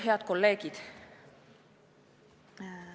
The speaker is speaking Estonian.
Head kolleegid!